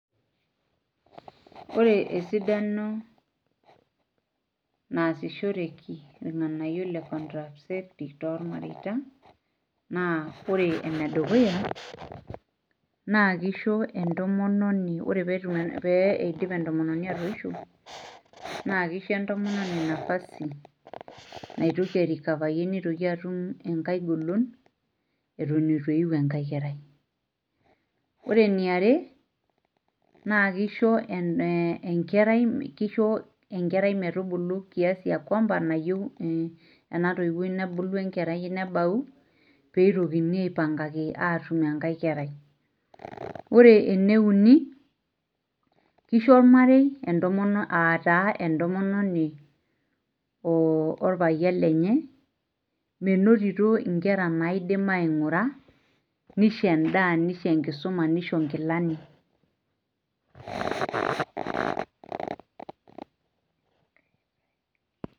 ore esidano nasishoreki irngganayio le contaraceptive too ilmareita naa ore ene dukuya naa kisho entomononi ore pee idip entomononi atoisho, naa kisho entomononi nafasi naitoki airikafayie eton etu eyu enkae kerai, ore eniare naa kisho enkerai metubulu kiasi ekuamba nayieu, enatoiwui nebayu pee itokini aipangaki atum enkae kerai, ore ene uni kisho olmarei aa taa entomononi orpayian lenye menotito inkera naidim aing'ura nisho edaa nisho enkisuma nisho inkilani.